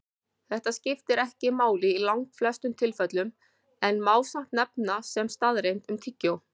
Þetta skiptir ekki máli í langflestum tilfellum en má samt nefna sem staðreynd um tyggjó.